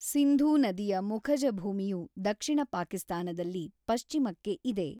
ಸಿಂಧೂ ನದಿಯ ಮುಖಜ ಭೂಮಿಯು ದಕ್ಷಿಣ ಪಾಕಿಸ್ತಾನದಲ್ಲಿ ಪಶ್ಚಿಮಕ್ಕೆ ಇದೆ.